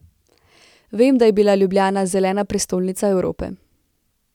Vem, da je bila Ljubljana zelena prestolnica Evrope.